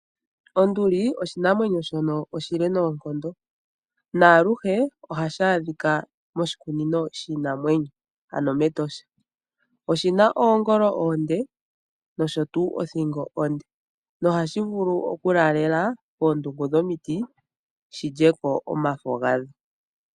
Onduli oshinamwenyo shono oshile noonkondo, naaluhe ohashi ashika moshikunino shiinamwenyo ano mEtosha. Oshina oongolo oonde nosho tuu othingo onde nohashi vulu okulaalela koondungu dhomiti shilyeko omafo gadho.